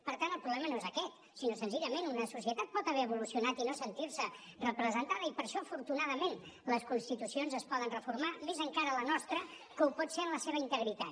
per tant el problema no és aquest sinó senzillament una societat pot haver evolucionat i no sentir se representada i per això afortunadament les constitucions es poden reformar més encara la nostra que ho pot ser en la seva integritat